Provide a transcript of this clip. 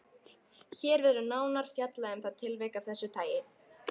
Hér verður nánar fjallað um það tilvik af þessu tagi.